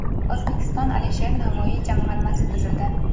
O‘zbekistonda Alisher Navoiy jamg‘armasi tuzildi.